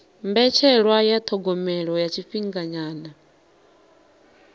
mbetshelwa ya thogomelo ya tshifhinganyana